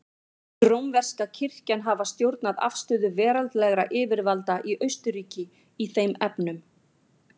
Mun rómverska kirkjan hafa stjórnað afstöðu veraldlegra yfirvalda í Austurríki í þeim efnum.